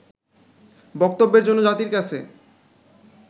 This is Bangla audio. বক্তব্যের জন্য জাতির কাছে